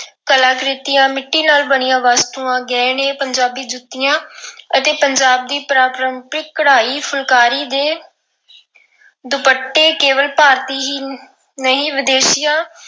ਕਲਾਕ੍ਰਿਤੀਆਂ, ਮਿੱਟੀ ਨਾਲ ਬਣੀਆਂ ਵਸਤੂਆਂ, ਗਹਿਣੇ, ਪੰਜਾਬ ਜੁੱਤੀਆਂ ਅਤੇ ਪੰਜਾਬ ਦੀ ਪਰੰਪਰਿਕ ਕਢਾਈ ਫੁਲਕਾਰੀ ਦੇ ਦੁਪੱਟੇ ਕੇਵਲ ਭਾਰਤੀ ਹੀ ਨਹੀਂ ਵਿਦੇਸ਼ੀਆਂ